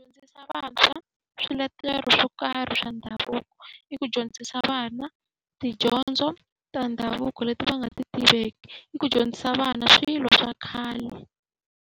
Dyondzisa vantshwa swiletelo swo karhi swa ndhavuko, i ku dyondzisa vana tidyondzo ta ndhavuko leti va nga ti tiveki, i ku dyondzisa vana swilo swa khale.